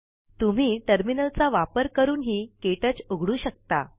तुम्ही टर्मिनलचा वापर करून हि क्टच उघडू शकता